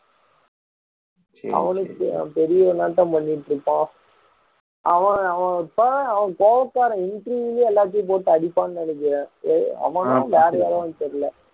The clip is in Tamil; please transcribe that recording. அவனுக்கு அவன் பெரிய இவனாட்டம் பண்ணிட்டு இருப்பான் அவன் அவன் ஒரு கோவ~ கோவக்காரன் interview லயே எல்லாரையும் போட்டு அடிப்பான்னு நினைக்கிறேன் அவனா வேற யாரோவான்னு தெரியல